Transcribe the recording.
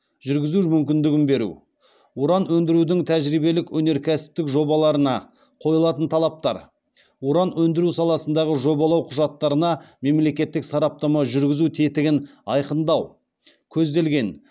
жүргізу мүмкіндігін беру уран өндірудің тәжірибелік өнеркәсіптік жобаларына қойылатын талаптар уран өндіру саласындағы жобалау құжаттарына мемлекеттік сараптама жүргізу тетігін айқындау көзделген